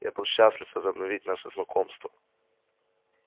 я был бы счастлив возобновить наше знакомство